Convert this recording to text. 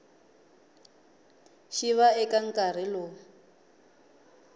xi va eka nkarhi lowu